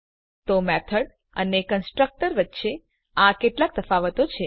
તો મેથડ અને કન્સ્ટ્રક્ટર વચ્ચે આ કેટલાક તફાવતો હતા